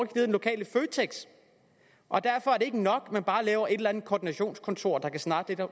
den lokale føtex og derfor er det ikke nok at man bare laver et eller andet koordinationskontor der kan snakke